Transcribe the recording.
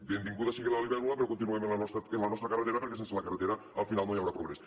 benvinguda sigui la libèl·lula però continuem amb la nostra carretera perquè sense la carretera al final no hi haurà progrés